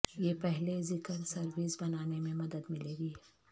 یہ پہلے ذکر سروس بنانے میں مدد ملے گی